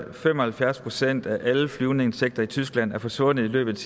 at fem og halvfjerds procent af alle flyvende insekter i tyskland er forsvundet i løbet